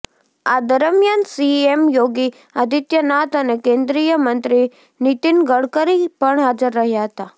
આ દરમિયાન સીએમ યોગી આદિત્યનાથ અને કેન્દ્રીયમંત્રી નિતિન ગડકરી પણ હાજર રહ્યા હતા